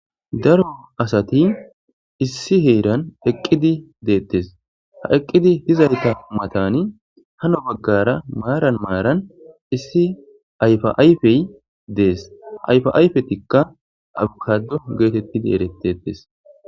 Daro asati issi haran eqidi detes ha eqidi dizayta matani hala bagara maran maran issi ayfa ayfey des ha ayfa ayfetika avkado getetidi eretes.